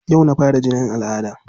Yau na fara jinin al'adda.